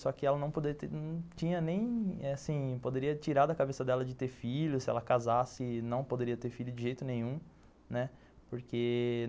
Só que ela não poderia ter, não tinha nem assim, poderia tirar da cabeça dela de ter filho, se ela casasse não poderia ter filho de jeito nenhum, né, porque...